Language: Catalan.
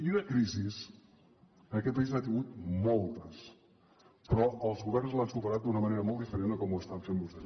i de crisis aquest país n’ha tingut moltes però els governs les han superat d’una manera molt diferent de com ho estan fent vostès